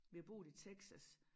Vi har boet i Texas